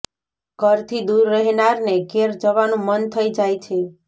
ઘરથી દૂર રહેનારને ઘેર જવાનું મન થઈ જાય છે